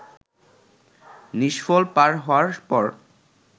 নিষ্ফল পার হওয়ার পর